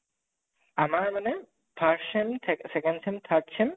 আমাৰ মানে first sem ঠে second sem third sem